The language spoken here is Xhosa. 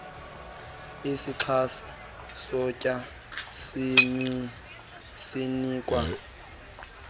izixhasi kutya zinikwa